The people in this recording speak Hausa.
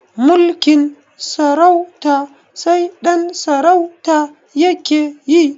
Mulkin sarauta sai ɗan sarauta yake yi